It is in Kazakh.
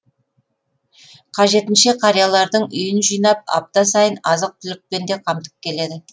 қажетінше қариялардың үйін жинап апта сайын азық түлікпен де қамтып келеді